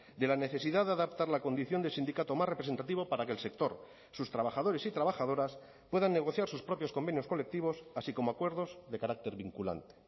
de la necesidad de adaptar la condición de sindicato más representativo para que el sector sus trabajadores y trabajadoras puedan negociar sus propios convenios colectivos así como acuerdos de carácter vinculante